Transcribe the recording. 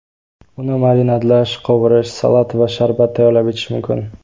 Uni marinadlash, qovurish, salat va sharbat tayyorlab ichish mumkin.